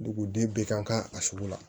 Duguden bɛ kan ka a sugu la